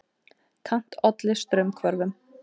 Kant olli straumhvörfum.